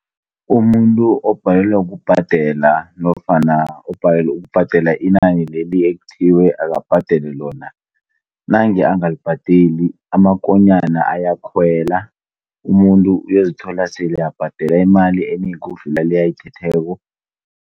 Umuntu obhalelwa kubhadela nofana ubhalelwe kubhadela inani leli ekuthiwe lona, nange angalibhadeli, amakonyana ayakhwela. Umuntu uyozithola esele abhadela imali enengi ukudlula le ayithetheko.